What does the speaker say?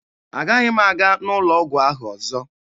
Agaghị m aga n'ụlọ ọgwụ ahụ ọzọ